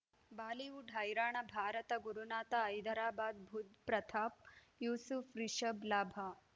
Bollywood ಹೈರಾಣ ಭಾರತ ಗುರುನಾಥ ಹೈದರಾಬಾದ್ ಬುಧ್ ಪ್ರತಾಪ್ ಯೂಸುಫ್ ರಿಷಬ್ ಲಾಭ